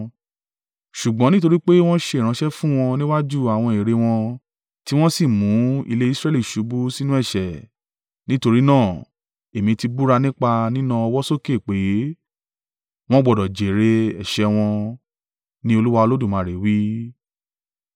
Ṣùgbọ́n nítorí pé wọn ṣe ìránṣẹ́ fún wọn níwájú àwọn ère wọn, tí wọn sì mu ilé Israẹli ṣubú sínú ẹ̀ṣẹ̀, nítorí náà, Èmi tí búra nípa nína ọwọ́ sókè pé, wọn gbọdọ̀ jèrè ẹ̀ṣẹ̀ wọn, ní Olúwa Olódùmarè wí.